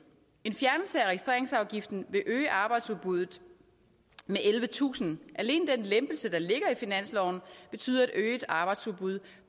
en fjernelse af registreringsafgiften vil øge arbejdsudbuddet med ellevetusind alene den lempelse der ligger i finansloven betyder et øget arbejdsudbud